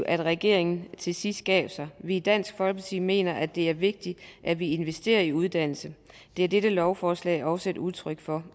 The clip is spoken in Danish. at regeringen til sidst gav sig vi i dansk folkeparti mener at det er vigtigt at vi investerer i uddannelse det er dette lovforslag også et udtryk for